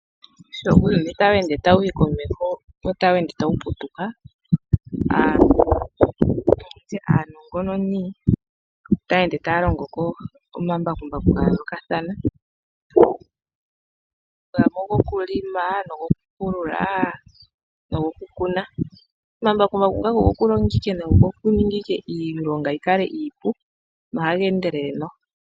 Sho uuyuni tawu ende tawuyi komeho wo ota wu ende tawu putuka, aantu nenge nditye aanongononi otaya ende tayalongoko omambakumbaku gayoolokathana, gamwe ogokulima nogokupulula nogokukuna. Omambakumbaku ngaka ogokulonga ike nogokuninga ike iilonga yikale iipu na ohaga endelele noho.